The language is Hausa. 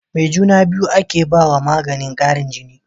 Me juna biyu ake bawa maganin Karin jini